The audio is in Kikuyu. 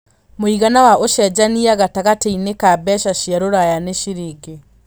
mũigana wa ũcenjanĩa gatagatĩini ka mbeca cia rũraya n ciringi